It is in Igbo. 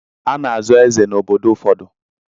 A na-azọ eze n'obodo ụfọdụ.